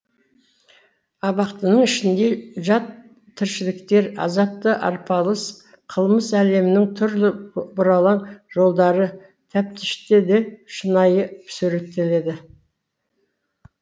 абақтының ішінде жат тіршіліктер азапты арпалыс қылмыс әлемінің түрлі бұралаң жолдары тәптіштеле шынайы суреттеледі